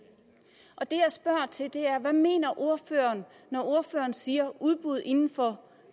det er hvad mener ordføreren når ordføreren siger udbud inden for